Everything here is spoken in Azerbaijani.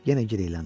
Yenə girəyləndi.